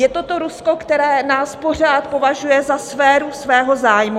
Je to to Rusko, které nás pořád považuje za sféru svého zájmu.